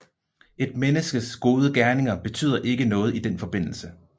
Et menneskes gode gerninger betyder ikke noget i den forbindelse